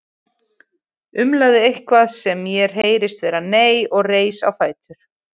Umlaði eitthvað sem mér heyrðist vera nei og reis á fætur.